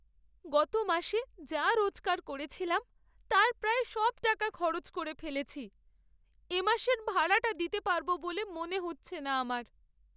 গত মাসে যা রোজগার করেছিলাম তার প্রায় সব টাকা খরচ করে ফেলেছি। এ মাসের ভাড়াটা দিতে পারব বলে মনে হচ্ছে না আমার।